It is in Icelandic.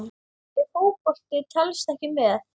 Ef Fótbolti telst ekki með?